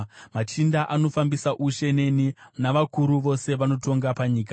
machinda anofambisa ushe neni, navakuru vose vanotonga panyika.